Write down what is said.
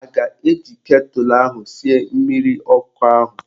A ga-eji ketụlụ ahụ sie mmiri ọkụ ahụ?